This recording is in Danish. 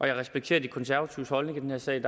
jeg respekterer de konservatives holdning i den her sag